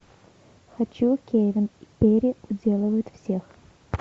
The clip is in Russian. хочу кевин и перри уделывают всех